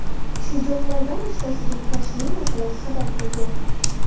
Shu janglardan uchtasiga Kashmir masalasi sabab bo‘lgan.